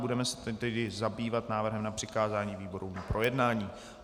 Budeme se tedy zabývat návrhem na přikázání výborům k projednání.